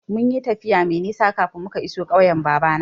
Mun yi tafiya mai nisa kafin muka iso ƙauyen babana.